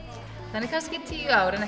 þannig að kannski í tíu ár en